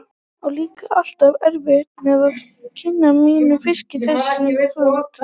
Á líka alltaf erfitt með að kyngja mínum fiski þessi kvöld.